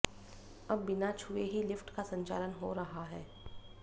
अब बिना छुए ही लिफ्ट का संचालन हो रहा है